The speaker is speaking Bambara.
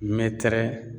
Mɛtɛrɛ